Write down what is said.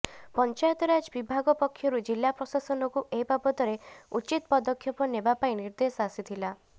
ପଞ୍ଚାୟତରାଜ ବିଭାଗ ପକ୍ଷରୁ ଜିଲା ପ୍ରଶାସନକୁ ଏ ବାବଦରେ ଉଚିତ ପଦକ୍ଷେପ ନେବା ପାଇଁ ନିର୍ଦ୍ଦେଶ ଆସିଥିଲା